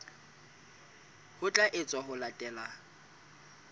ho tla etswa ho latela